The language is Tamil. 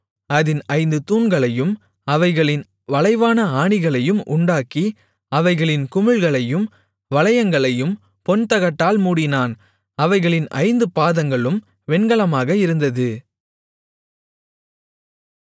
அதின் ஐந்து தூண்களையும் அவைகளின் வளைவான ஆணிகளையும் உண்டாக்கி அவைகளின் குமிழ்களையும் வளையங்களையும் பொன்தகட்டால் மூடினான் அவைகளின் ஐந்து பாதங்களும் வெண்கலமாக இருந்தது